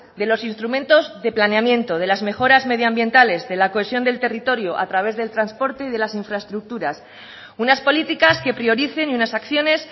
de los instrumentos de planeamiento de las mejoras medioambientales de la cohesión del territorio a través del transporte y de las infraestructuras unas políticas que prioricen y unas acciones